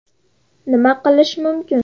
Nima qilish mumkin?